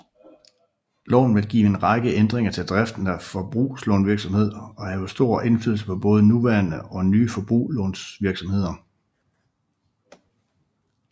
Loven vil give en række ændringer til driften af forbrugslånvirksomhed og have stor indflydelse på både nuværende og nye forbrugslånvirkssomheder